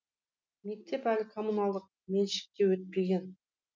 мектеп әлі коммуналдық меншікке өтпеген